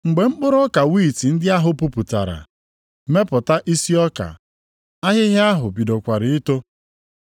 Mgbe mkpụrụ ọka wiiti ndị ahụ puputara, mepụta isi ọka, ahịhịa ahụ bidokwara ito.